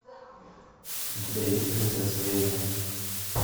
у тебя есть принцесса эмми